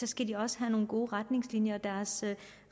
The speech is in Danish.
skal de også have nogle gode retningslinjer og deres